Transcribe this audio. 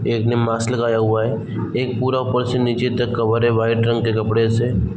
एक ने मास्क लगाया हुआ है एक पुरा उपर से नीचे तक कवर है वाइट रंग के कपड़े से।